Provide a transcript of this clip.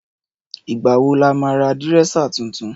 Ìgbà wò là ma rà dìrẹ́sà titun